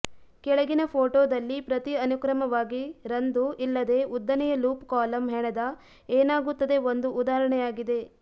ಕೆಳಗಿನ ಫೋಟೋದಲ್ಲಿ ಪ್ರತಿ ಅನುಕ್ರಮವಾಗಿ ರಂದು ಇಲ್ಲದೆ ಉದ್ದನೆಯ ಲೂಪ್ ಕಾಲಮ್ ಹೆಣೆದ ಏನಾಗುತ್ತದೆ ಒಂದು ಉದಾಹರಣೆಯಾಗಿದೆ